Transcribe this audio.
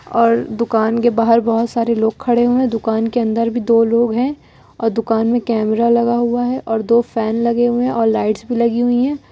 और दुकान के बाहर बहुत सारे लोग खड़े हुए दुकान के अंदर भी दो लोग हैं और दुकान में कैमरा लगा हुआ है और दो फैन लगे हुए और लाइट्स भी लगी हुई हैं।